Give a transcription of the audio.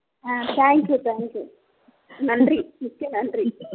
thank you thank you நன்றி மிக்க நன்றி